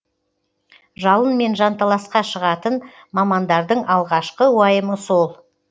жалынмен жанталасқа шығатын мамандардың алғашқы уайымы сол